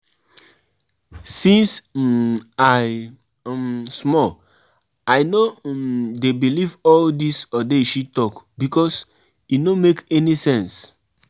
I don tell my pikin say if she start to notice anything unusual for her body body make um she go hospital